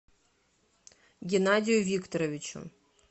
геннадию викторовичу